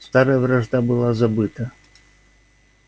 старая вражда была забыта